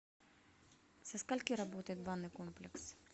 со скольки работает банный комплекс